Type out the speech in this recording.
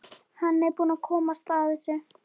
Hann er búinn að komast að þessu.